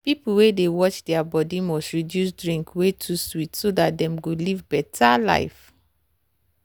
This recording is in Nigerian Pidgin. people wey dey watch their body must reduce drinks wey too sweet so dat dem go live better life.